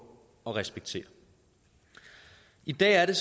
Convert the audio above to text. og respekterer i dag er det